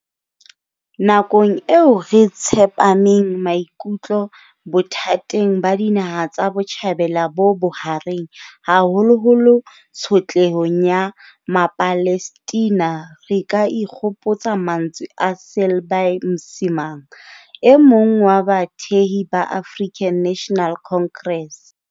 Nakong eo re tshepameng maikutlo bothateng ba dinaha tsa botjhabela bo bohareng. Haholoholo tshotlehong ya Mapalestina, re ka ikgopotsa mantswe a Selby Msimang, e mong wa bathehi ba African National Congress.